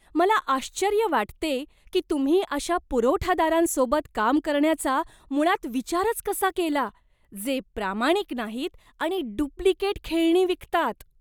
मला आश्चर्य वाटते की तुम्ही अशा पुरवठादारांसोबत काम करण्याचा मुळात विचारच कसा केला, जे प्रामाणिक नाहीत आणि डुप्लिकेट खेळणी विकतात.